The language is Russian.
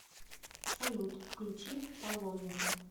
салют включи паломника